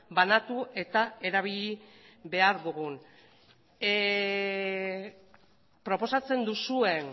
banatu eta erabili behar dugun proposatzen duzuen